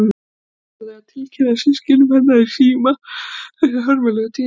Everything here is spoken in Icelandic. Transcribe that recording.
Ég hafði orðið að tilkynna systkinum hennar í síma þessi hörmulegu tíðindi.